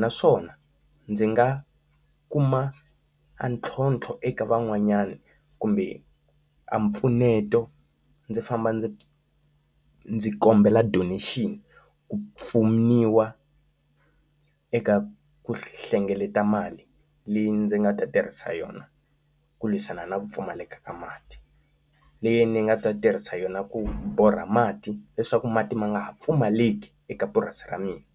naswona ndzi nga kuma a ntlhontlho eka van'wanyana kumbe a mpfuneto ndzi famba ndzi ndzi kombela donation, ku pfuniwa eka ku hlengeleta mali leyi ndzi nga ta tirhisa yona ku lwisana na pfumaleka ka mati. Leyi ni nga ta tirhisa yona ku borha mati leswaku mati ma nga ha pfumaleki eka purasi ra mina.